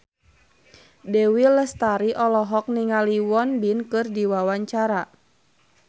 Dewi Lestari olohok ningali Won Bin keur diwawancara